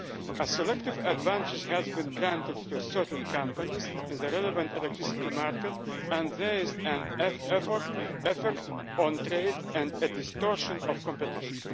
a selective advantage has been granted to certain companies in the relevant electricity market and there is an effect on trade and a distortion of competition.